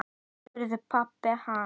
spurði pabbi hans.